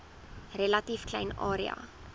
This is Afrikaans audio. relatief klein area